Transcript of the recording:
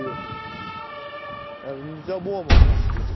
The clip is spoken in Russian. габбана